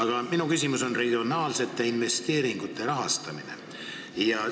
Kuid minu küsimus on regionaalsete investeeringute rahastamise kohta.